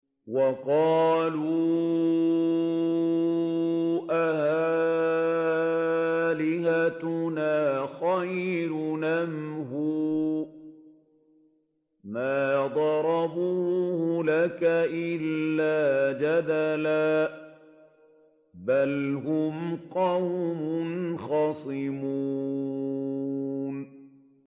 وَقَالُوا أَآلِهَتُنَا خَيْرٌ أَمْ هُوَ ۚ مَا ضَرَبُوهُ لَكَ إِلَّا جَدَلًا ۚ بَلْ هُمْ قَوْمٌ خَصِمُونَ